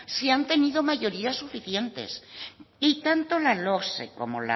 si han tenido mayoría suficientes y tanto la logse como